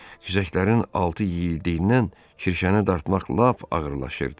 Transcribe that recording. Kirşəklərin altı yeyildiyindən kirşəni dartmaq lap ağırlaşırdı.